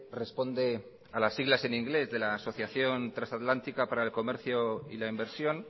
responde a las siglas en inglés de la asociación transatlántico para el comercio y la inversión